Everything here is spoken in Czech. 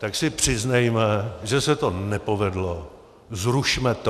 Tak si přiznejme, že se to nepovedlo, zrušme to.